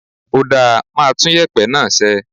Ó dáa, màá tún yèpẹ̀ náà sẹ́.